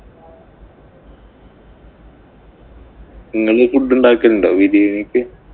ഇങ്ങള് food ഉണ്ടാക്കലുണ്ടോ ബിരിയാണിക്ക്.